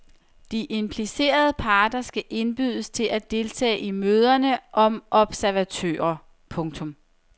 De implicerede parter skal indbydes til at deltage i møderne som observatører. punktum